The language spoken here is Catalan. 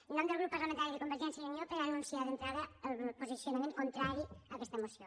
en nom del grup parlamentari de convergència i unió per anunciar d’entrada el posicionament contrari a aquesta moció